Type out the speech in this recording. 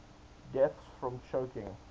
deaths from choking